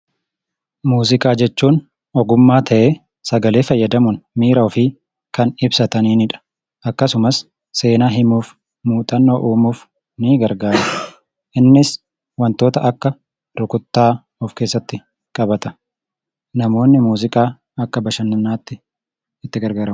Muuziqaa jechuun ogummaa ta'ee, sagalee fayyadamuun miira ofii kan ibsatanidha. Akkasumas seenaa himuuf, muuxannoo uumuuf ni gargaara. Innis wantoota akka rukuttaa of keessatti qabata. Namoonni muuziqaa akka bashannanaatti itti gargaaramu.